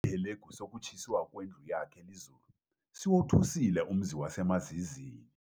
Isihelegu sokutshiswa kwendlu yakhe lizulu, siwothusile umzi wasemaZizini.